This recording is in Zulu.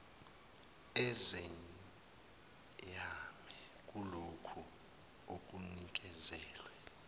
ezeyame kulokhu okunikezelwe